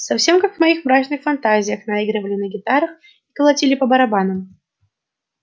совсем как в моих мрачных фантазиях наигрывали на гитарах и колотили по барабанам